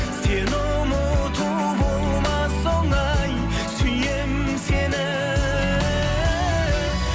сені ұмыту болмас оңай сүйемін сені